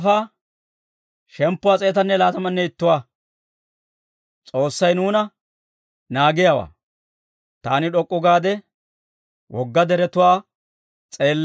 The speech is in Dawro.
Taani d'ok'k'u gaade wogga deretuwaa s'eellay; taw maaduu hak'appe yanddeeshsha?